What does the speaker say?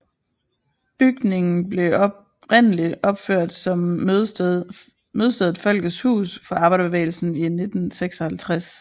Bygningen blev oprindeligt opført som mødestedet Folket Hus for arbejderbevægelsen i 1956